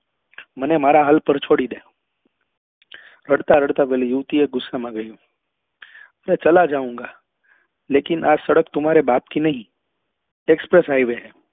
મને મારા હાલ પર છોડી ડે રડતા રડતા પેલી યુવતી એ ગુસ્સા માં કહ્યું મેં ચલા જાઉંગા લેકિન આ સડક તુમ્હારે બાપ કી નહી હૈ express highway હૈ